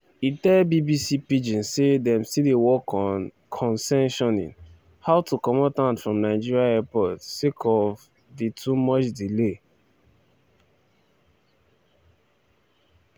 e tell bbc pidgin say dem still dey work on (concessioning) how to comot hand from nigeria airports sake of di too much delay (bureaucracy)